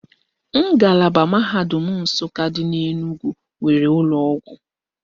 Ngalaba mahadum Nsụka dị n'Enugwu nwere ụlọọgwụ